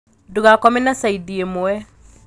Ndūgakome na caidi īmwe